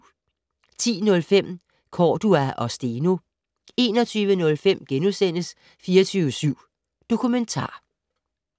10:05: Cordua og Steno 21:05: 24syv Dokumentar *